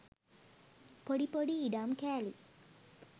පොඩි පොඩි ඉඩම් කෑලි.